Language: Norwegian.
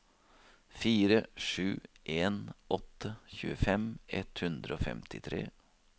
fire sju en åtte tjuefem ett hundre og femtitre